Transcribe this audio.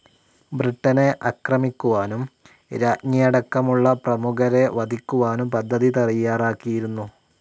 ബ്രിട്ടനെ ആക്രമിക്കുവാനും രാജ്ഞിയടക്കമുള്ള പ്രമുഖരെ വധിക്കുവാനും പദ്ധതി തയ്യാറാക്കിയിരുന്നു.